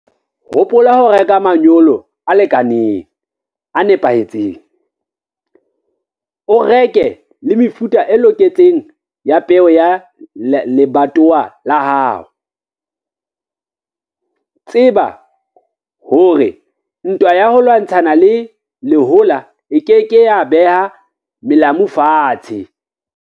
Hopola ho reka manyolo a lekaneng, a nepahetseng. O reke le mefuta e loketseng ya peo ya lebatowa la hao. Tseba hore ntwa ya ho lwantshana le lehola e ke ke ya beha melamu fatshe.